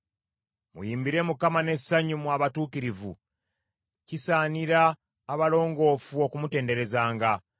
Muyimbire Mukama n’essanyu mmwe abatuukirivu; kisaanira abalongoofu okumutenderezanga.